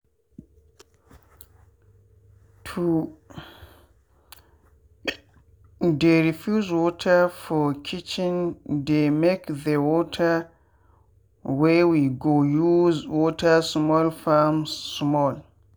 to dey reuse water for kitchendey make the water wey we go use water small farms small.